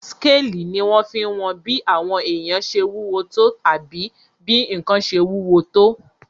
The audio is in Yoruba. Skélì ní wọ́n fí n wọn bí àwọn èèyàn ṣe wúwo tó àbí bí ǹkan ṣe wúwo tó